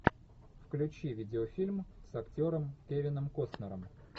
включи видеофильм с актером кевином костнером